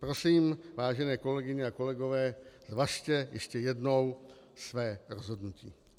Prosím, vážené kolegyně a kolegové, zvažte ještě jednou své rozhodnutí.